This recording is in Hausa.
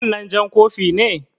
Wannan jan kofi na ne?